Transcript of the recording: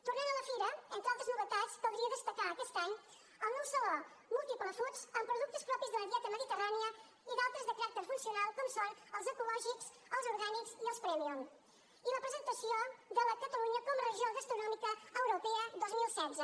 tornant a la fira entre altres novetats caldria destacar aquest any el nou saló multiple foods amb productes propis de la dieta mediterrània i d’altres de caràcter funcio nal com són els ecològics els orgànics i els prèmium i la presentació de catalunya com a regió europea de la gastronomia dos mil setze